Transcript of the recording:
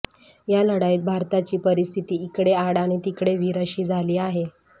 या लढाईत भारताची परिस्थिती इकडे आड आणि तिकडे विहीर अशी झाली आहे